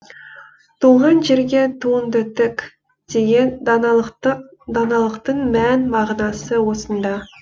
туған жерге туыңды тік деген даналықтың мән мағынасы осында